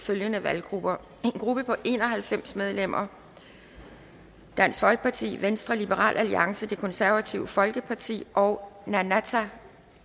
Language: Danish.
følgende valggrupper en gruppe på en og halvfems medlemmer dansk folkeparti venstre liberal alliance det konservative folkeparti og nunatta